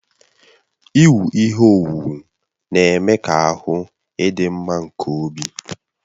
Iwu ihe owuwu na-eme ka ahụ idị mma nke obi